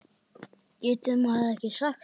Getur maður ekki sagt það?